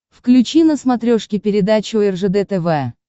включи на смотрешке передачу ржд тв